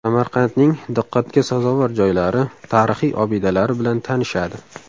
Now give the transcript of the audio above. Samarqandning diqqatga sazovor joylari, tarixiy obidalari bilan tanishadi.